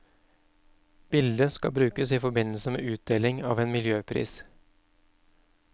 Bildet skal brukes i forbindelse med utdeling av en miljøpris.